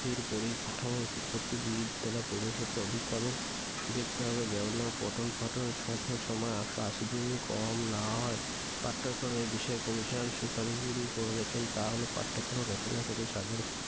পরি কাঠামো শিক্ষার্থী বিদ্যালয়ে প্রবেশপত্র অধিক পাবেন দেখতে হবে যেন পঠন-পাঠন সাধন সময় একশ আশি দিন কম না হয়। পাঠ্যক্রমের বিষয়ে commission সুপারিশগুলি করেছেন তা হল পাঠক্রম গঠনের ক্ষেত্রে সাধারণ শিক্ষার্থী